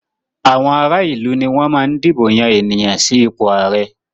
Àwọn ará ìlú ni wọ́n máa ń dìbò yan ènìyàn sí ipò ààrẹ.